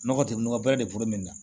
Nɔgɔ tɛ nɔgɔ bɛrɛ de bolo min na